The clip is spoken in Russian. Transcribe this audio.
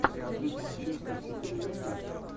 смотреть манчестер сити ливерпуль